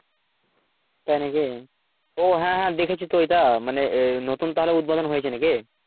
তাই নাকি ও হ্যাঁ হ্যাঁ দেখেছি তো এটা মানে নতুন তাহলেউদ্বোদন হয়েছে নাকি?